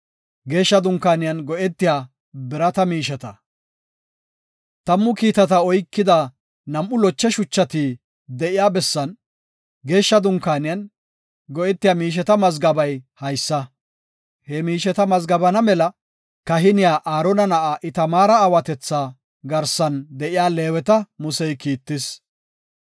Tammu kiitata oykida nam7u loche shuchati de7iya bessan, Geeshsha Dunkaaniyan, go7etiya miisheta mazgabey haysa. He miisheta mazgabana mela kahiniya Aarona na7a Itamaara aawatetha garsan de7iya Leeweta Musey kiittis.